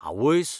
आवयस्स!